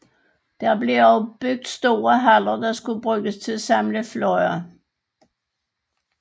Der blev også bygget store haller der skulle bruges til at samle fly